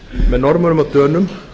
með norðmönnum og dönum